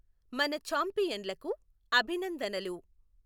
మనఛాంపియన్ లకు అభినందనలు!